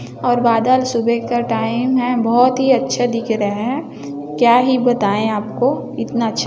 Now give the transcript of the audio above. और बादल सुबह का टाइम है बहोत ही अच्छे दिख रहे क्या ही बताए आपको इनता ही अच्छा--